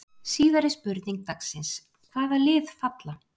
Síðari spurning dagsins: Hvaða lið falla?